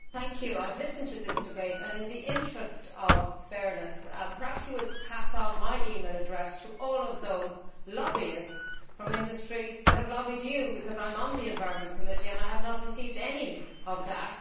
I have listened to this debate and in the interest of fairness perhaps you will pass on my email address to all of those lobbyists from industry who have lobbied you, because I am on the Environment Committee and I have not received any of that.